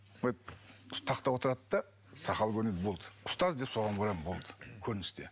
тақта отырады да сақалы көрінеді болды ұстаз деп соған барамын болды көріністе